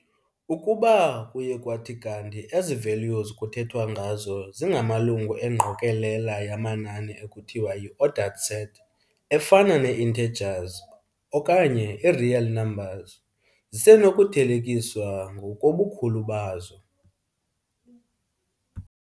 Ukuba kuye kwathi kanti ezi values kuthethwa ngazo zingamalungu engqokolela yamanani ekuthiwa yi-ordered set, efana nee-intergers okanye ii-real numbers, zisenokuthelekiswa ngokobukhulu bazo.